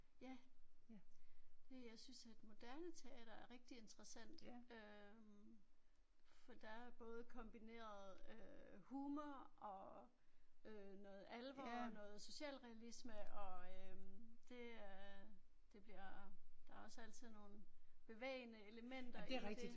Ja. Det jeg synes at moderne teater er rigtig interessant øh for der er både kombineret øh humor og øh noget alvor og noget socialrealisme og øh det øh det bliver der er også altid nogle bevægende elementer i det